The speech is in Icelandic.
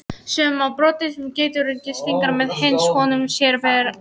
Sjá má broddinn sem geitungurinn stingur með finnist honum sér vera ógnað.